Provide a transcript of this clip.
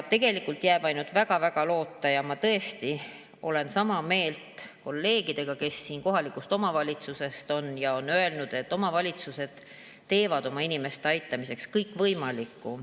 Tegelikult jääb üle ainult väga-väga loota ja ma tõesti olen sama meelt kolleegidega, kes siin kohalikust omavalitsusest on ja on öelnud, et omavalitsused teevad oma inimeste aitamiseks kõikvõimaliku.